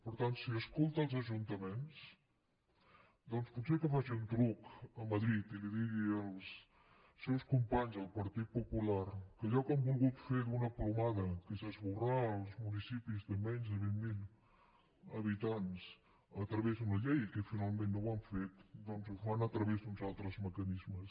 per tant si escolta els ajuntaments doncs potser que faci un truc a madrid i els digui als seus companys del partit popular que allò que han volgut fer d’una plomada que és esborrar els municipis de menys de vint mil habitants a través d’una llei i que finalment no ho han fet doncs ho fan a través d’uns altres mecanismes